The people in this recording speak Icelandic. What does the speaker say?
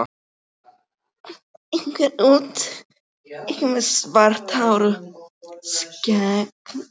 Einhver út, einhver með svart hár og skegg.